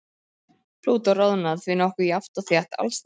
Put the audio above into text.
Plútó roðnar því nokkuð jafnt og þétt alls staðar.